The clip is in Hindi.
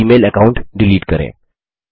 एक ई मेल अकाउंट डिलीट करें